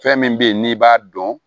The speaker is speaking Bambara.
Fɛn min bɛ ye n'i b'a dɔn